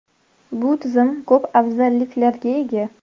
Bu tizim ko‘p afzalliklarga ega.